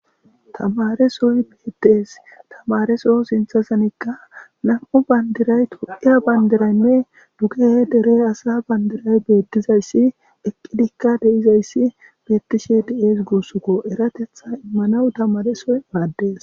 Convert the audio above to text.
Tamare soy beettes tamareso sinthasanikka nam7u bandiray tu7iya bandiraynne duge dere asa bandiray beettizayssi eqqidikka deizayssi beettishe di7ees gussukko eratetha immanawu tamaresoy maaddees.